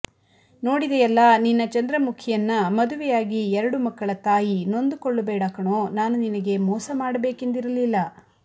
ನೋಡಿದೆಯಲ್ಲಾ ನಿನ್ನ ಚಂದ್ರಮುಖಿಯನ್ನ ಮದುವೆಯಾಗಿ ಎರಡು ಮಕ್ಕಳ ತಾಯಿ ನೊಂದು ಕೊಳ್ಳಬೇಡ ಕಣೋ ನಾನು ನಿನಗೆ ಮೋಸ ಮಾಡಬೇಕೆಂದಿರಲಿಲ್ಲ